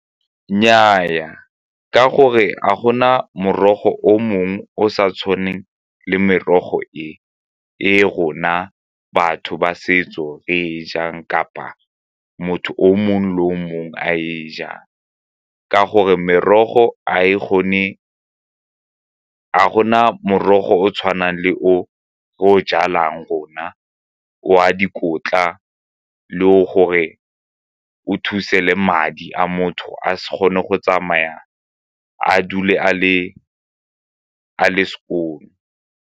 Nnyaa, ka gore a go na morogo o mongwe o sa tshwaneng le merogo e e rona batho ba setso re e jang kapa motho o mongwe le o mongwe a e jang, ka gore ga gona morogo o tshwanang le o o jalang gona o a dikotla le gore o thuse le madi a motho a se kgone go tsamaya a dule a le skoon-o.